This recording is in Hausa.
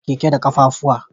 Ana tuka keke da kafafu.